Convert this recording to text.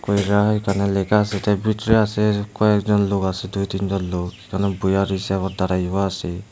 কইরা এখানে লেখা আসে এইটার ভিতরে আসে কয়েকজন লোক আসে দুই তিন জন লোক বইয়া রইসে আবার দাড়াইবা আসে।